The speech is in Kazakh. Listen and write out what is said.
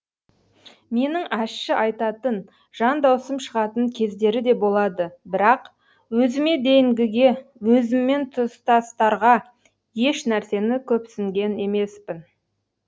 менің ащы айтатын жан даусым шығатын кездері де болады бірақ өзіме дейінгіге өзіммен тұстастарға еш нәрсені көпсінген емеспін